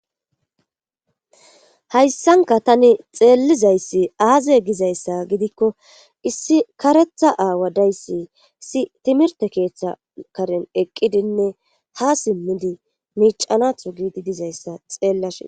Hayssanka tani xeellizayssi aaze gizayssa gidikko issi karetha aawa dayssisi timirte keeththa karen eqqidinne hasimmidi miicanatho giidi dizayssa xeellashe.